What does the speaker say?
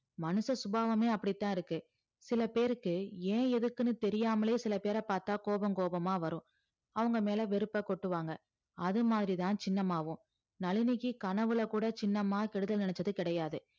மனுஷ சுபாவமே அப்படித்தான் இருக்கு சில பேருக்கு ஏன் எதுக்குன்னு தெரியாமலயே சில பேரப் பார்த்தா கோபம் கோபமா வரும் அவங்க மேல வெறுப்பக் கொட்டுவாங்க அது மாதிரிதான் சின்னம்மாவும் நளினிக்கு கனவுல கூட சின்னம்மா கெடுதல் நினைச்சது கிடையாது